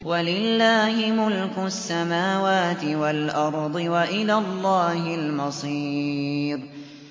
وَلِلَّهِ مُلْكُ السَّمَاوَاتِ وَالْأَرْضِ ۖ وَإِلَى اللَّهِ الْمَصِيرُ